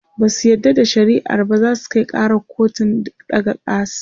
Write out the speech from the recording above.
Basu yarda da shari'ar ba zasu Kai karar kotun ɗaga kars